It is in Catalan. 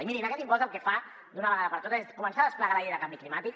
i mirin aquest impost el que fa d’una vegada per totes és començar a desplegar la llei de canvi climàtic